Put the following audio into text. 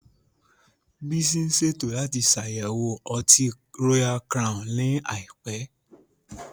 Bísí ń ṣètò láti ṣàyẹ̀wò Ọtí Royal Crown ní àìpẹ́